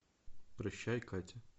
прощай катя